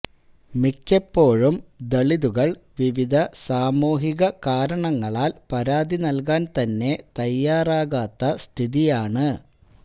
മിക്കപ്പോഴും ദലിതുകള് വിവിധ സാമൂഹിക കാരണങ്ങളാല് പരാതി നല്കാന് തന്നെ തയാറാകാത്ത സ്ഥിതിയാണ്